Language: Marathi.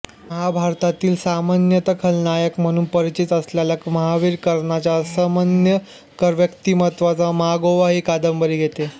महाभारतातील सामान्यत खलनायक म्हणून परिचित असलेल्या महावीर कर्णाच्या असामान्य व्यक्तिमत्वाचा मागोवा ही कादंबरी घेते